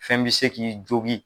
Fɛn bi se k'i jogi